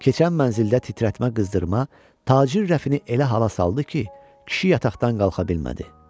Keçən mənzildə titrətmə qızdırma tacir Rəfini elə hala saldı ki, kişi yataqdan qalxa bilmədi.